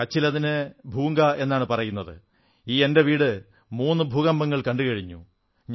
കച്ചിൽ അതിന് ഭൂംഗാ എന്നാണ് പറയുന്നത് എന്റെ ഈ വീട് മൂന്നു ഭൂകമ്പങ്ങൾ കണ്ടു കഴിഞ്ഞു